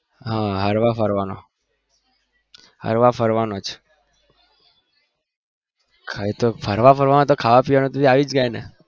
હા ફરવાનો હરવા ફરવાનો જ ખાવા પીવાનું આવી જાય ને